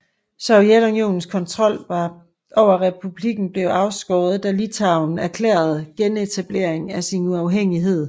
Sovjetunionens kontrol over republikken blev afskåret da Litauen erklærede genetablering af sin uafhængighed